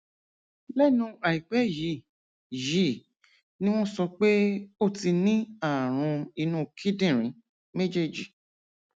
lẹnu àìpẹ yìí yìí ni wọn sọ pé ó ti ní ààrùn inú kíndìnrín méjèèjì